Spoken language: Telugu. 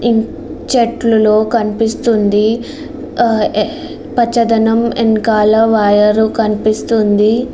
ఈ చెట్లలో కనిపిస్తుంది పచ్చదనం ఎనకాల వైర్ కనిపిస్తుంది.